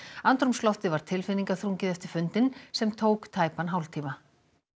andrúmsloftið var tilfinningaþrungið eftir fundinn sem tók tæpan hálftíma